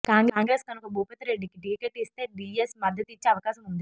కాంగ్రెస్ కనుక భూపతిరెడ్డికి టీకెట్ ఇస్తే డీఎస్ మద్దతిచ్చే అవకాశం ఉంది